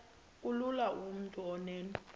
kulula kumntu onen